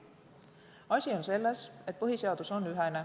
Asi on selles, et põhiseadus on ühene.